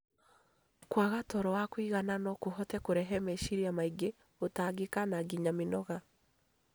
Kwaga toro wa kũigana no kũhote kũrehe meciria maingĩ, gũtangĩka na nginya mĩnoga.